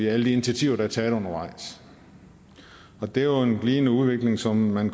er alle de initiativer der er taget undervejs og det er jo en glidende udvikling som man